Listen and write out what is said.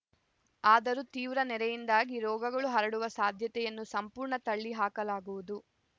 ಆದರೂ ತೀವ್ರ ನೆರೆಯಿಂದಾಗಿ ರೋಗಗಳು ಹರಡುವ ಸಾಧ್ಯತೆಯನ್ನು ಸಂಪೂರ್ಣ ತಳ್ಳಿ ಹಾಕಲಾಗುವುದು